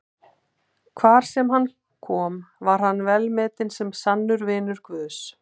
Hvar sem hann kom var hann velmetinn sem sannur vinur Guðs.